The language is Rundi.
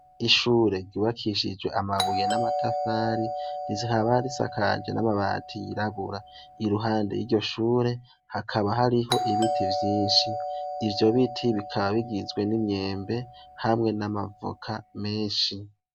Ishure ryubakishije amabuye n'amatafari rikaba risakajwe n'amabati yirabura, iruhande y'iryo shure hakaba hariho ibiti vyinshi ivyo biti bikaba bigizwe n'imyembe hamwe n'amavoka menshi.